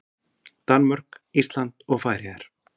Danmörk, Ísland og Færeyjar.